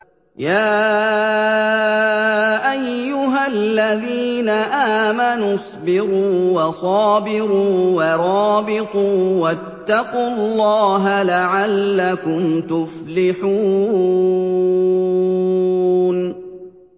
يَا أَيُّهَا الَّذِينَ آمَنُوا اصْبِرُوا وَصَابِرُوا وَرَابِطُوا وَاتَّقُوا اللَّهَ لَعَلَّكُمْ تُفْلِحُونَ